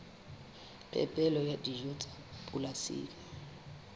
phepelo ya dijo tsa polasing